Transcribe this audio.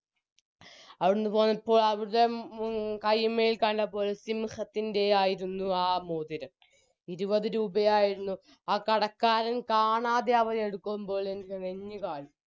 അവിടുന്ന് പോന്നപ്പോൾ അവരുടെ കൈമ്മേ കണ്ടപ്പോൾ സിംഹത്തിൻറെയായിരുന്നു ആ മോതിരം ഇരുപത് രൂപയായിരുന്നു ആ കടക്കാരൻ കാണാതെ അവരെടുക്കുമ്പോൾ എൻറെ നെഞ് കാളി